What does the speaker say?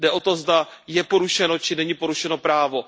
Jde o to, zda je porušeno, či není porušeno právo.